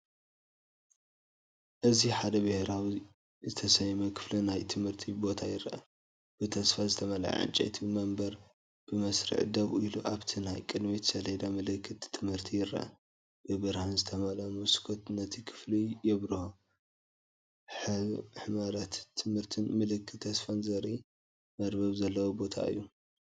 እዚ ሓደ ብሕብራዊ ዝተሰለመ ክፍሊ ናይ ትምህርቲ ቦታ ይርአ። ብተስፋ ዝተመልአ ዕንጨይቲ መንበር ብመስርዕ ደው ኢሉ፤ ኣብቲ ናይ ቅድሚት ሰሌዳ ምልክት ትምህርቲ ይርአ። ብብርሃን ዝተመልአ መስኮት ነቲ ክፍሊ የብርሆ፤ ሕመረት ትምህርትን ምልክት ተስፋን ዘርኢ መርበብ ዘለዎ ቦታ እዩ።